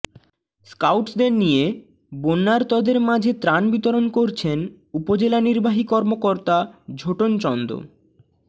স্কাউটসদের নিয়ে বন্যার্তদের মাঝে ত্রাণ বিতরণ করছেন উপজেলা নির্বাহী কর্মকর্তা ঝোটন চন্দ